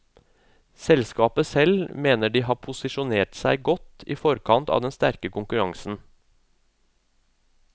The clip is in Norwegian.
Selskapet selv mener at de har posisjonert seg godt i forkant av den sterkere konkurransen.